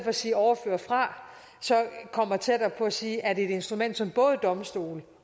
at sige overføre fra kommer tættere på at sige at et instrument som både domstolene